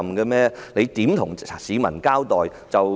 他們如何向市民交代？